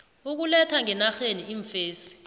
ukuletha ngenarheni iimfesi